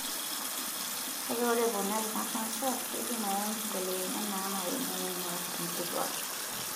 Kake ore eponari ina kansa, keidim ayau nkibelekenyat naanare neingorr nkituak.